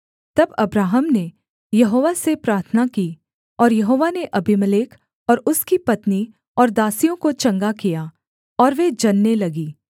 तब अब्राहम ने यहोवा से प्रार्थना की और यहोवा ने अबीमेलेक और उसकी पत्नी और दासियों को चंगा किया और वे जनने लगीं